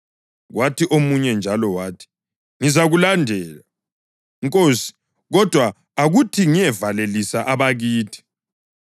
Kwathi omunye njalo wathi, “Ngizakulandela, Nkosi, kodwa akuthi kengiyevalelisa abakithi.”